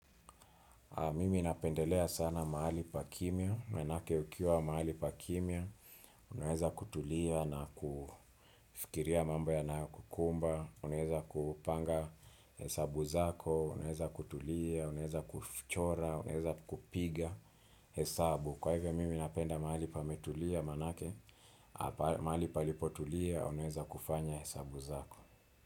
Mimi napendelea sana mahali pa kimya, manake ukiwa mahali pa kimya, unaweza kutulia na kufikiria mambo yanayokukumba, unaeza kupanga hesabu zako, unaeza kutulia, unaeza kuchora, unaeza kupiga hesabu. Kwa hivyo, mimi napenda mahali pametulia, manake, mahali palipotulia, unaweza kufanya hesabu zako.